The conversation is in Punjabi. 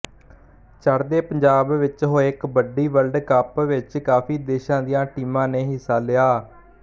ਚੜ੍ਹਦੇ ਪੰਜਾਬ ਵਿੱਚ ਹੋਏ ਕਬੱਡੀ ਵਰਲਡ ਕੱਪ ਵਿੱਚ ਕਾਫ਼ੀ ਦੇਸ਼ਾਂ ਦੀਆਂ ਟੀਮਾਂ ਨੇ ਹਿੱਸਾ ਲਿਆ